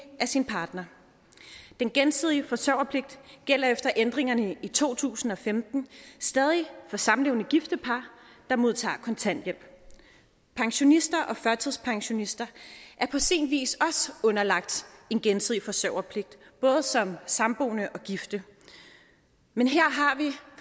af sin partner den gensidige forsørgerpligt gælder efter ændringerne i to tusind og femten stadig for samlevende og gifte par der modtager kontanthjælp pensionister og førtidspensionister er på sin vis også underlagt en gensidig forsørgerpligt både som samboende og gifte men her